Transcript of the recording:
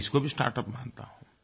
मैं इसको भी स्टार्टअप मानता हूँ